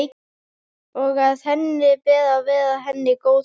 Og að henni ber að vera henni góð móðir.